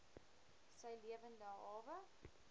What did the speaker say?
sy lewende hawe